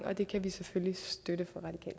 og det kan vi selvfølgelig støtte